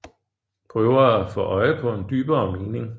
Prøver at få øje på en dybere mening